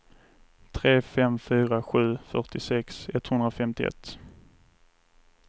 tre fem fyra sju fyrtiosex etthundrafemtioett